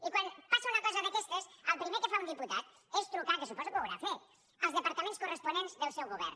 i quan passa una cosa d’aquestes el primer que fa un diputat és trucar que suposo que ho haurà fet als departaments cor·responents del seu govern